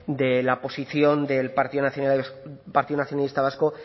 de la posición del partido nacionalista vasco